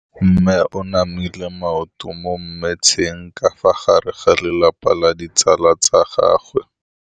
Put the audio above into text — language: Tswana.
Mme o namile maoto mo mmetseng ka fa gare ga lelapa le ditsala tsa gagwe.